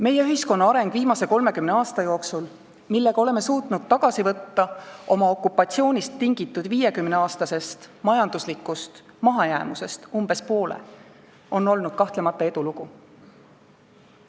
Meie ühiskonna areng viimase 30 aasta jooksul, mil oleme suutnud oma okupatsioonist tingitud 50-aastasest majanduslikust mahajäämusest tagasi võtta umbes poole, on olnud kahtlemata edulugu.